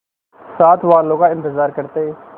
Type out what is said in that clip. साथ वालों का इंतजार करते